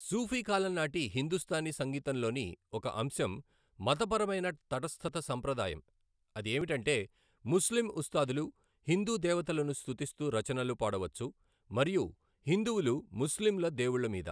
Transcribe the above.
సూఫీ కాలం నాటి హిందుస్తానీ సంగీతంలోని ఒక అంశం మతపరమైన తటస్థత సంప్రదాయం, అది ఏమిటంటే ముస్లిం ఉస్తాదులు హిందూ దేవతలను స్తుతిస్తూ రచనలు పాడవచ్చు, మరియు హిందువులు ముస్లింల దేవుళ్ళ మీద.